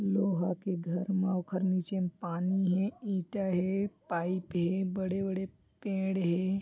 लोहा के घर मा ओखर निचे म पानी हे ईंटा हे पाइप हे बड़े-बड़े पेड़ हे।